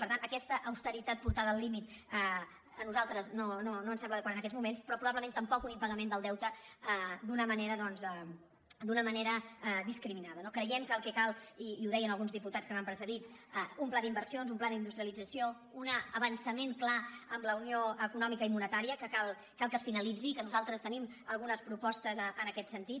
per tant aquesta austeritat portada al límit a nosaltres no ens sembla adequada en aquests moments però probablement tampoc un impagament del deute d’una manera doncs discriminada no creiem que el que cal i ho deien alguns diputats que m’han precedit és un pla d’inversions un pla d’industrialització un avançament clar en la unió econòmica i monetària que cal que es finalitzi i nosaltres tenim algunes propostes en aquest sentit